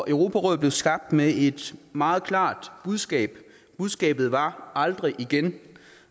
europarådet blev skabt med et meget klart budskab budskabet var aldrig igen